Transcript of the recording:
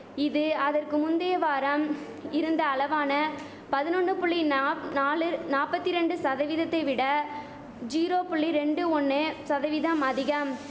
இது அதற்கு முந்தைய வாரம் இருந்த அளவான பதினொன்னு புள்ளி நாப் நாலு நாப்பத்திரண்டு சதவீதத்தை விட ஜீரோ பள்ளி ரெண்டு ஒன்னு சதவீதம் அதிகம்